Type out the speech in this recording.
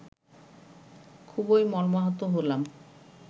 খুবই মর্মাহত হলাম